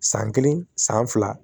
San kelen san fila